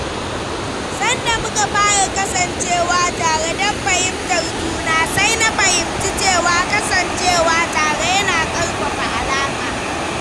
Sanda muka fara kasancewa tare don fahimtar juna, sai na fahimci cewa kasancewa tare yana ƙarfafa alaƙa.